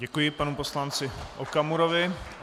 Děkuji panu poslanci Okamurovi.